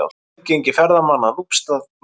Aðgangi ferðamanna að Núpsstað lokað